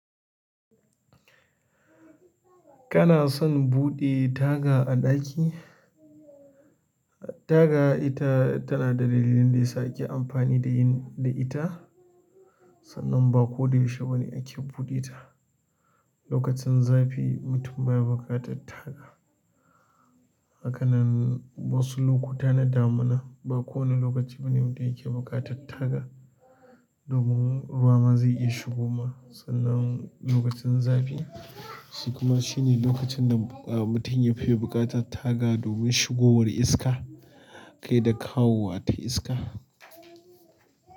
Kana son buɗe taga a ɗaki? Taga ita tana da dalilin da yasa ake amfani da yin da ita, sannan ba ko da yaushe bane ake buɗe ta. Lokacin zafi mutum baya buƙatar taga. Hakanan wasu lokuta na damina ba kowane lokaci bane wanda yake buƙatar taga, domin ruwa ma zai iya shigowa. Sannan lokacin zafi shi kuma shine lokacin da mutum ya fi buƙatar taga domin shigowar iska kai da kawowa ta iska.